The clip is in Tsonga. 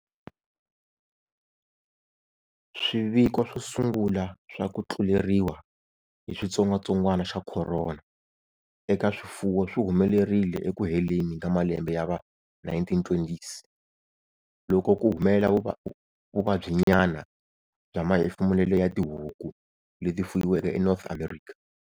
Swiviko swo sungula swa ku tluleriwa hi xitsongatsongwana xa khorona eka swifuwo swi humelerile eku heleni ka malembe ya va 1920s, loko ku humelela vuvabyinyana bya mahefemulele ya tihuku leti fuyiweke eNorth America.